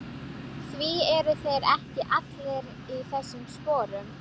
Því eru þeir ekki allir í þessum sporum?